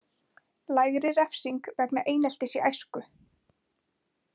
Lægri refsing vegna eineltis í æsku